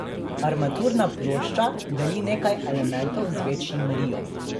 Armaturna plošča deli nekaj elementov z večjim riom.